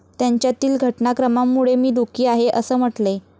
त्यांच्यातील घटनाक्रमामुळे मी दुःखी आहे' असं म्हटलंय.